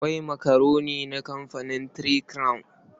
Akwai makaroni na kamfanin Three Crown.